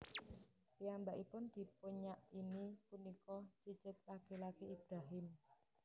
Piyambakipun dipunyakini punika cicit laki laki Ibrahim